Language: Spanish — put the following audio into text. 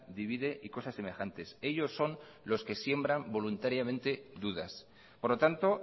divide y cosas semejantes ellos son los que siembran voluntariamente dudas por lo tanto